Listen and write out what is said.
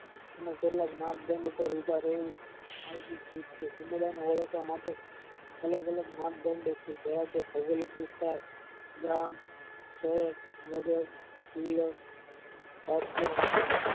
ને કેટકલ જ્ઞાન દંડ પાર ઉભા રહી આગળ અલગ માપદંડ જેવા કે ભૌગોલિક વિસ્તાર ગ્રામ શહેર નગર જિલ્લો ભાગ્ય વગેરે